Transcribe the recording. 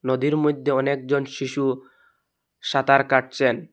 নদীর মধ্যে অনেকজন শিশু সাঁতার কাটছেন।